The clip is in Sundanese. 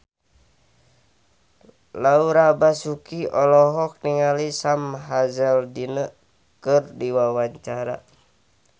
Laura Basuki olohok ningali Sam Hazeldine keur diwawancara